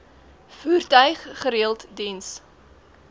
voertuig gereeld diens